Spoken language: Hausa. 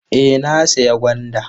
Eh na sayi gwanda.